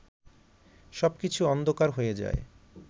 সব কিছু অন্ধকার হয়ে যায়